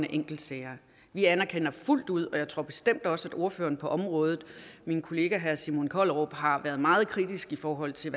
af enkeltsager vi anerkender fuldt ud og jeg tror bestemt også at ordføreren på området min kollega herre simon kollerup har været meget kritisk i forhold til